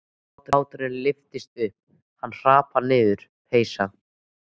Báturinn lyftist upp, hann hrapar niður, peysa